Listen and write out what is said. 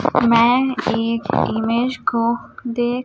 मैं एक इमेज को देख--